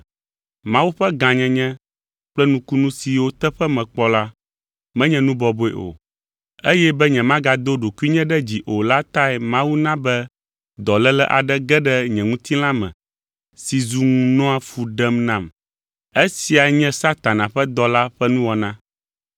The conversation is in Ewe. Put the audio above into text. Mawu ƒe gãnyenye kple nukunu siwo teƒe mekpɔ la, menye nu bɔbɔe o, eye be nyemagado ɖokuinye ɖe dzi o la tae Mawu na be dɔléle aɖe ge ɖe nye ŋutilã me si zu ŋu nɔa fu ɖem nam. Esia nye Satana ƒe dɔla ƒe nuwɔna.